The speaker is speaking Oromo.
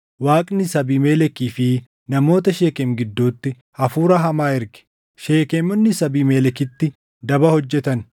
Waaqnis Abiimelekii fi namoota Sheekem gidduutti hafuura hamaa erge; Sheekemonnis Abiimelekitti daba hojjetan.